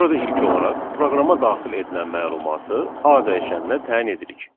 Burada ilk olaraq proqrama daxil edilən məlumatı A dəyişəninə təyin edirik.